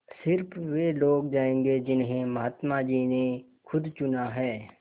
स़िर्फ वे लोग जायेंगे जिन्हें महात्मा जी ने खुद चुना है